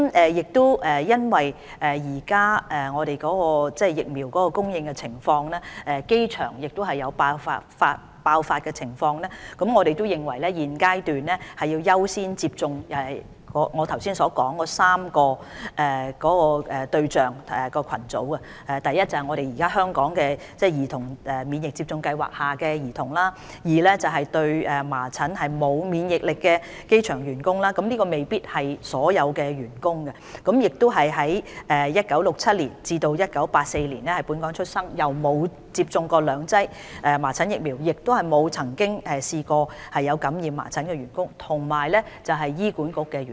因應現時的疫苗供應，而機場有爆發的情況，我們認為現階段要優先為我剛才提及的3類對象群組接種疫苗：第一，現時香港兒童免疫接種計劃下的兒童，第二，對麻疹沒有免疫力的機場員工，這未必是所有的員工，而是在1967年至1984年在本港出生、沒有接種兩劑麻疹疫苗及未曾感染過麻疹的員工，以及第三，醫管局的員工。